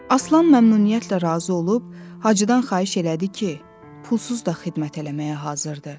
Aslan məmnuniyyətlə razı olub Hacıdan xahiş elədi ki, pulsuz da xidmət eləməyə hazırdı.